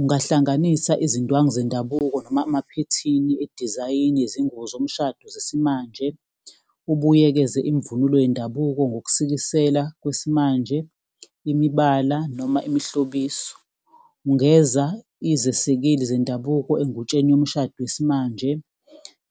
Ungahlanganisa izindwangu zendabuko noma amaphethini edizayini yezingubo zomshado zesimanje, ubuyekeze imvunulo yendabuko ngokusikisela kwesimanje, imibala noma imihlobiso. Ungeza izesekeli zendabuko engutsheni yomshado yesimanje.